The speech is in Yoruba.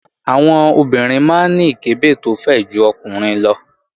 Àwọn obìnrin máa ń ní ìkẹ́bẹ̀ tó fẹ̀ ju àwọn ọkùnrin lọ